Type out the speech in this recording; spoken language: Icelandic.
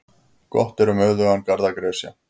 Gott er um auðugan garð að gresja.